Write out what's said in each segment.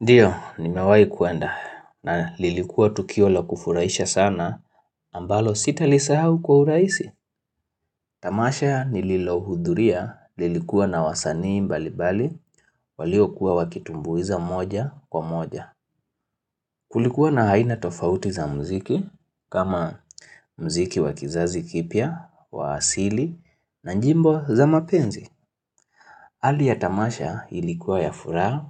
Ndiyo, nimewahi kuenda na lilikuwa tukio la kufuraisha sana ambalo sitalisahau kwa urahisi. Tamasha nililohudhuria lilikuwa na wasanii mbalibali waliokuwa wakitumbuiza moja kwa moja. Kulikuwa na aina tofauti za muziki, kama muziki wa kizazi kipya, wa asili na nyimbo za mapenzi. Hali ya tamasha ilikuwa ya furaha,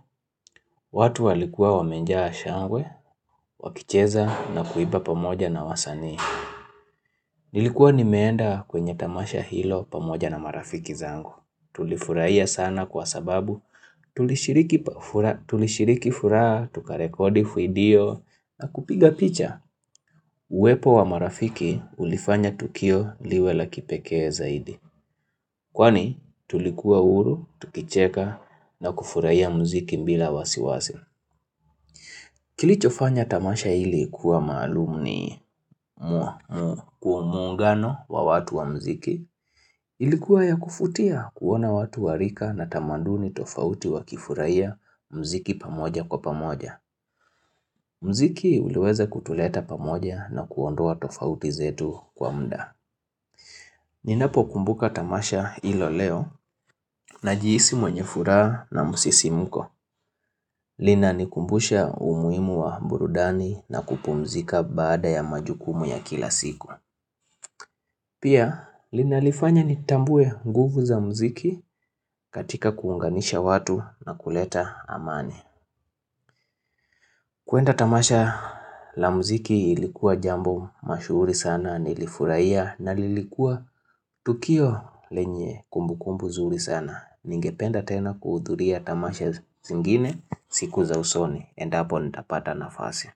watu walikuwa wamejaa shangwe, wakicheza na kuimba pamoja na wasanii. Nilikuwa nimeenda kwenye tamasha hilo pamoja na marafiki zangu. Tulifurahia sana kwa sababu, tulishiriki furaha, tukarekodi video na kupiga picha. Uwepo wa marafiki ulifanya tukio liwe la kipekee zaidi. Kwani tulikuwa huru, tukicheka na kufurahia muziki bila wasiwasi Kilichofanya tamasha hili kuwa maalum ni muungano wa watu wa mziki Ilikuwa ya kuvutia kuona watu wa rika na tamaduni tofauti wakifurahia muziki pamoja kwa pamoja muziki uliweza kutuleta pamoja na kuondoa tofauti zetu kwa muda Ninapokumbuka tamasha hilo leo najihisi mwenye furaha na msisimko. Linanikumbusha umuhimu wa burudani na kupumzika baada ya majukumu ya kila siku. Pia linanifanya nitambue nguvu za muziki katika kuunganisha watu na kuleta amani. Kwenda tamasha la mziki ilikuwa jambo mashuhuri sana nilifurahia na lilikuwa tukio lenye kumbukumbu zuri sana. Ningependa tena kuhudhuria tamasha zingine siku za usoni endapo nitapata nafasi.